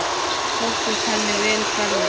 Sóttist henni vel ferðin.